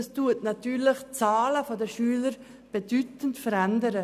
Das verändert die Schülerzahl in bedeutendem Ausmass.